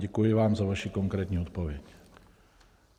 Děkuji vám za vaši konkrétní odpověď.